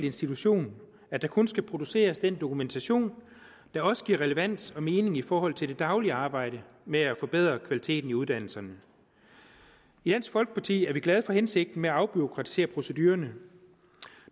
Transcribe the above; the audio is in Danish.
institution at der kun skal produceres den dokumentation der også giver relevans og mening i forhold til det daglige arbejde med at forbedre kvaliteten i uddannelserne i dansk folkeparti er vi glade for hensigten med at afbureaukratisere procedurerne